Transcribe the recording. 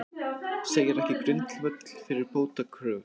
Segir ekki grundvöll fyrir bótakröfu